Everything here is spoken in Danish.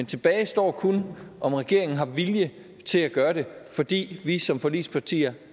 tilbage står kun om regeringen har vilje til at gøre det fordi vi som forligspartier